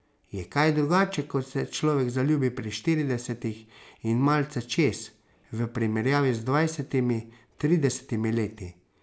Je kaj drugače, ko se človek zaljubi pri štiridesetih in malce čez, v primerjavi z dvajsetimi, tridesetimi leti?